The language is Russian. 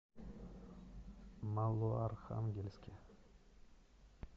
малоархангельске